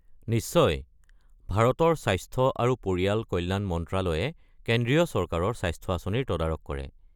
নিশ্চয়। ভাৰতৰ স্বাস্থ্য আৰু পৰিয়াল কল্যাণ মন্ত্ৰালয়ে কেন্দ্ৰীয় চৰকাৰৰ স্বাস্থ্য আঁচনিৰ তদাৰক কৰে।